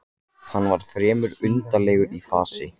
Hann var fremur undarlegur í fasi.